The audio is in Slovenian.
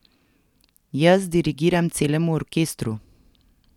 Jaz dirigiram celemu orkestru ...